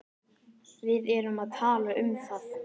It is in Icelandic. Við erum að tala um það!